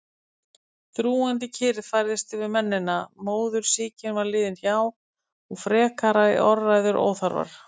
Þrúgandi kyrrð færðist yfir mennina, móðursýkin var liðin hjá og frekari orðræður óþarfar.